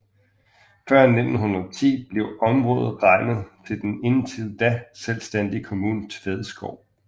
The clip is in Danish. Før 1910 blev området regnet til den indtil da selvstændige kommune Tvedskov